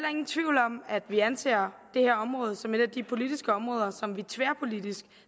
ingen tvivl om at vi anser det her område som et af de politiske områder som vi tværpolitisk